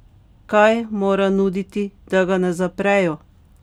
Kaj mora nuditi, da ga ne zaprejo?